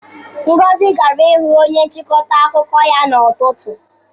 Ngozi gara ịhụ onye nchịkọta akụkọ ya n'ụtụtụ.